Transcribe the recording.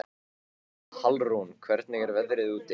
Hallrún, hvernig er veðrið úti?